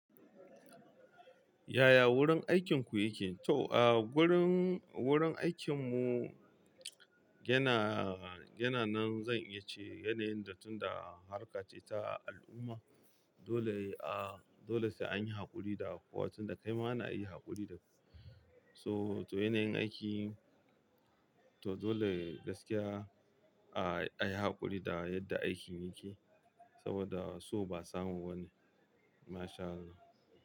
Yaya wurin aikinku yake? To, ah, wurin, wurin aikin mu yana, yana nan zan iya ce yanayin da tunda a harka ce ta al'umma. Dole a, dole sai an yi haƙuri da kuwa tunda kaima ana yi haƙuri da. So, to yanayin aiki, to dole gaskiya a, ayi haƙuri da yadda aikin yake saboda so ba samu bane. Masha Allah.